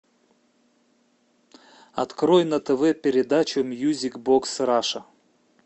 открой на тв передачу мьюзик бокс раша